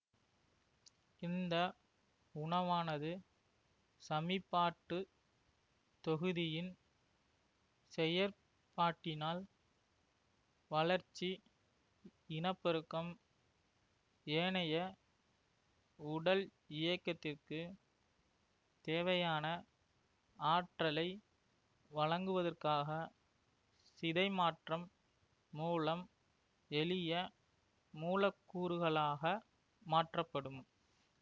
இந்த உணவானது சமிபாட்டுத் தொகுதியின் செயற்பாட்டினால் வளர்ச்சி இனப்பெருக்கம் ஏனைய உடல் இயக்கத்திற்கு தேவையான ஆற்றலை வழங்குவதற்காக சிதைமாற்றம் மூலம் எளிய மூலக்கூறுகளாக மாற்றப்படும்